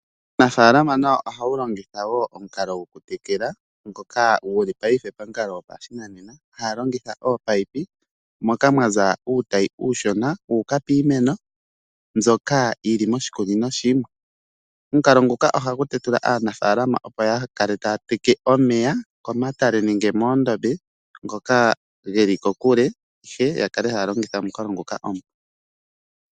Uunafalama nawo ohawu longitha wo omukalo gwo ku tekela ngoka guli paife pamukalo gwopashinanena haa longitha oopayipi moka mwaza uutayi uushuna wuuka piimeno mbyoka yili moshikunino shimwe omukalo nguka ohagu tetula aafalama opo ya kale iitaka teka omeya komatale nenge moondombe ngoka geli kokule the ya kale haya longitha omukalo ngoka omupu.